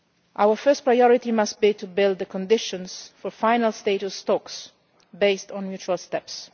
Our first priority must be to build the conditions for final status talks based on mutual steps.